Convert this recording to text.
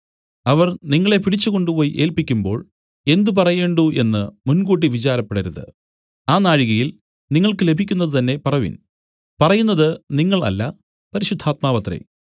അവർ നിങ്ങളെ പിടിച്ചുകൊണ്ടുപോയി ഏല്പിക്കുമ്പോൾ എന്ത് പറയേണ്ടു എന്നു മുൻകൂട്ടി വിചാരപ്പെടരുത് ആ നാഴികയിൽ നിങ്ങൾക്ക് ലഭിക്കുന്നതു തന്നേ പറവിൻ പറയുന്നത് നിങ്ങൾ അല്ല പരിശുദ്ധാത്മാവത്രേ